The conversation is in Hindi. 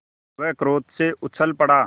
वह क्रोध से उछल पड़ा